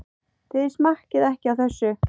Þið smakkið ekki á þessu!